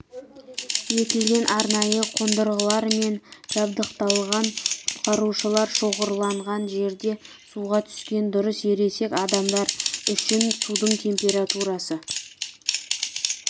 етілген арнайы қондырғылармен жабдықталған құтқарушылар шоғырланған жерде суға түскен дұрыс ересек адамдар үшін судың температурасы